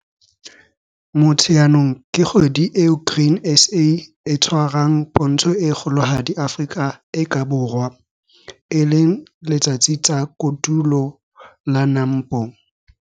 Motsheanong ke kgwedi eo Grain SA e tshwarang Pontsho e kgolohadi Afrika e ka Borwa, e leng Letsatsi tsa Kotulo la NAMPO.